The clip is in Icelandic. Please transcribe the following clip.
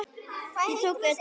Ég tók utan um hana.